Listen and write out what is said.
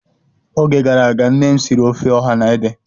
Oge gara aga, nnem siri ofe ọha na ede